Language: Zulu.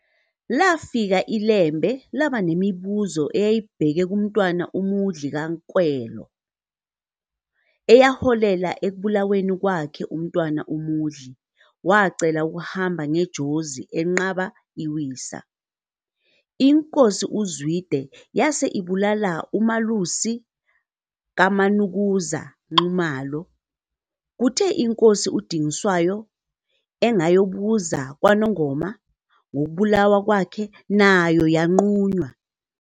Lafika iLembe labanemibuzo eyayibheke kuMntwana uMudli kaNkwelo, eyaholela ekubulaweni kwakhe uMntwana uMudli wacela ukuhamba ngeJozi enqaba iwisa. INkosi uZwide yase ibulala uMalusi kaManukuza Nxumalo, kuthe iNkosi uDingiswayo engayobuza kwaNongoma ngokubulawa kwakhe nayo yanqunywa.